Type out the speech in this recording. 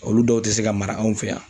Olu dɔw tɛ se ka mara anw fɛ yan.